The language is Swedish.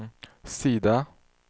sida